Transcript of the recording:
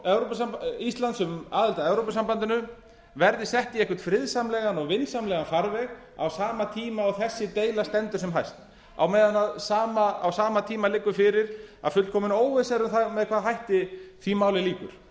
umsókn íslands um aðild að evrópusambandinu verði sett í einhvern friðsamlegan og vinsamlegan farveg á sama tíma og þessi deila stendur sem hæst á meðan á sama tíma liggur fyrir að fullkomin óvissa er um það með hvaða hætti því máli lýkur